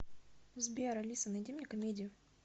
сбер алиса найди мне комедию